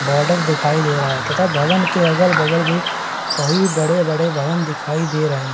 Border दिखाई दे रहा है तथा भवन के अगल-बगल भी कई बड़े-बड़े भवन दिखाई दे रहे हैं।